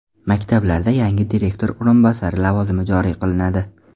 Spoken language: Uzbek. Maktablarda yangi direktor o‘rinbosari lavozimi joriy qilinadi.